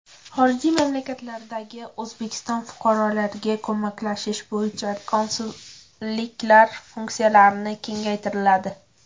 Xorijiy mamlakatlardagi O‘zbekiston fuqarolariga ko‘maklashish bo‘yicha konsulliklar funksiyalari kengaytiriladi.